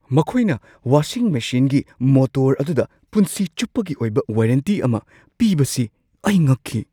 ꯃꯈꯣꯏꯅ ꯋꯥꯁꯤꯡ ꯃꯦꯁꯤꯟꯒꯤ ꯃꯣꯇꯣꯔ ꯑꯗꯨꯗ ꯄꯨꯟꯁꯤ ꯆꯨꯞꯄꯒꯤ ꯑꯣꯏꯕ ꯋꯥꯔꯦꯟꯇꯤ ꯑꯃ ꯄꯤꯕꯁꯤ ꯑꯩ ꯉꯛꯈꯤ ꯫